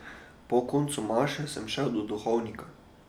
Po koncu maše sem šel do duhovnika.